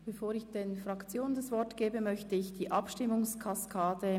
Bevor ich den Fraktionssprechern das Wort erteile, erläutere ich die Abstimmungskaskade: